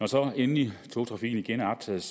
så endelig er genoptaget